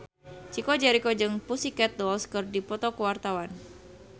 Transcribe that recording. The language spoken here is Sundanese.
Chico Jericho jeung The Pussycat Dolls keur dipoto ku wartawan